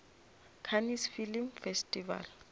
cannes film festival